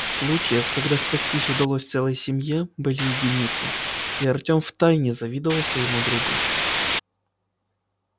случаев когда спастись удалось целой семье были единицы и артем втайне завидовал своему другу